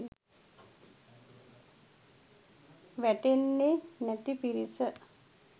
වැඩෙන්නෙ නැති පිරිස.